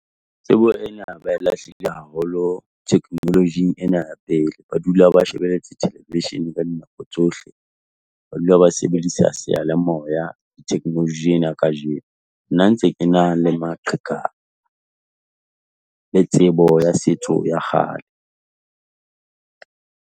Tsebo ena ba e lahlile haholo technology-ng ena ya pele, ba dula ba shebeletse television ka dinako tsohle, ba dula ba sebedisa seyalemoya technology ena ya kajeno. Nna ntse ke na le maqheka, le tsebo ya setso sa kgale.